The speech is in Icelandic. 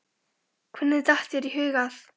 Hvernig datt þér í hug að?